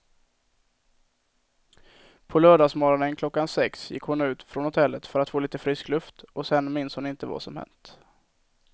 På lördagsmorgonen klockan sex gick hon ut från hotellet för att få lite frisk luft och sen minns hon inte vad som hänt.